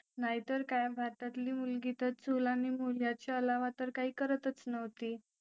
नाहीतर काय भारतातील मुलगी तर चूल आणि मुल याच्या अलावा तर काही करतच नव्हती